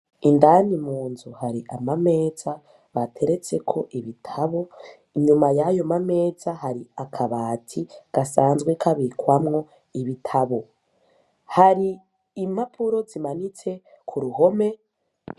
Indani Munzu hari Amameza, bateretseko Ibitabu, inyuma yayo mameza hari Akabati, gasanzwe kabikwamo ibitabu. Hari impapuro zimanitse kuruhome,